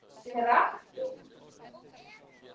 En hvað telst sanngjarn tími að mati fyrirtækisins?